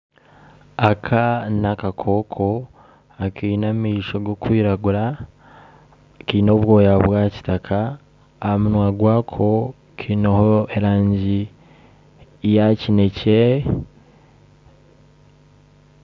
Aka nakakoko akaine amaisho garikwiragura, kine obwoya bwa kitaaka, ahamunwa gwako kineho erangi yakyinekye